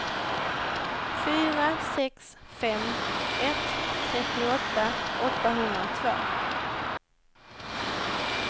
fyra sex fem ett trettioåtta åttahundratvå